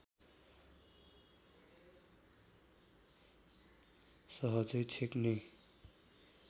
सहजै छेक्ने